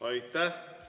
Aitäh!